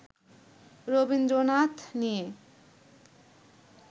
রবীন্দ্রনাথ নিয়ে